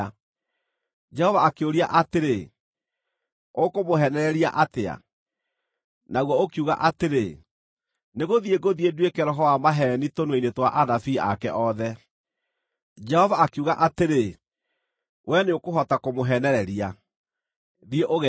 “Jehova akĩũria atĩrĩ, ‘Ũkũmũheenereria atĩa?’ “Naguo ũkiuga atĩrĩ, ‘Nĩgũthiĩ ngũthiĩ nduĩke roho wa maheeni tũnua-inĩ twa anabii ake othe.’ “Jehova akiuga atĩrĩ, ‘Wee nĩũkũhota kũmũheenereria. Thiĩ ũgeeke ũguo.’